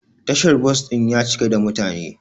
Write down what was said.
Tashar bos din ya cika da mutane.